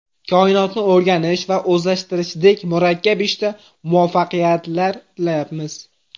Koinotni o‘rganish va o‘zlashtirishdek murakkab ishda muvaffaqiyatlar tilaymiz.